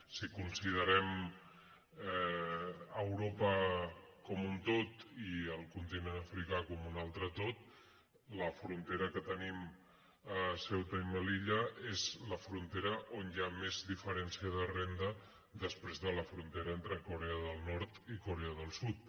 si considerem europa com un tot i el con·tinent africà com un altre tot la frontera que tenim a ceuta i melilla és la frontera on hi ha més diferència de renda després de la frontera entre corea del nord i corea del sud